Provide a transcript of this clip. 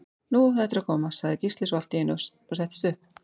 Nú er þetta að koma, sagði Gísli svo allt í einu og settist upp.